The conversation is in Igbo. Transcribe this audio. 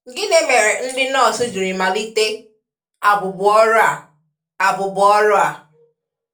Gịnị mere ndị nọọsụ jiri malite abụbụọrụ a? abụbụọrụ a?